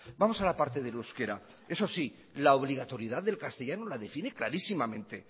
vamos a la parte del euskera eso sí la obligatoriedad del castellano la define clarísimamente